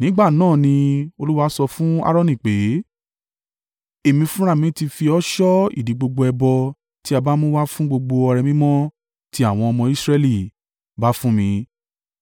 Nígbà náà ni Olúwa sọ fún Aaroni pé, “Èmi fúnra mi ti fi ọ́ ṣọ́ ìdí gbogbo ẹbọ tí a bá mú wá fún gbogbo ọrẹ mímọ́ tí àwọn ọmọ Israẹli bá fún mi,